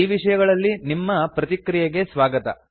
ಈ ವಿಷಯಗಳಲ್ಲಿ ನಿಮ್ಮ ಪ್ರತಿಕ್ರಿಯೆಗೆ ಸ್ವಾಗತ